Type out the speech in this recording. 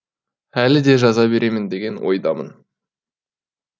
әлі де жаза беремін деген ойдамын